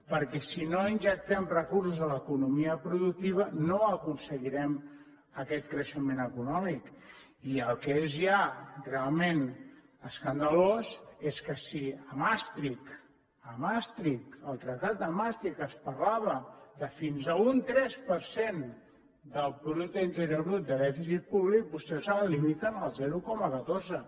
perquè si no injectem recursos a l’economia productiva no aconseguirem aquest creixement econòmic i el que és ja realment escandalós és que si a maastricht a maastricht al tractat de maastricht es parlava de fins a un tres per cent del producte interior brut de dèficit públic vostès ara el limiten al zero coma catorze